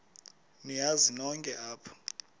niyazi nonk apha